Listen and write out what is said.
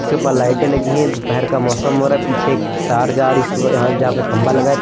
इसके ऊपर लाइटें लगी हैं। दोपहर का मौसम हो रहा है। पीछे एक तार जा रही। इसके ऊपर यहां जहां पे खंभा लगा है।